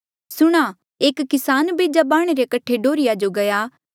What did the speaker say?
सुणां एक किसान बेजा बाह्णे रे कठे डोर्हीया जो गया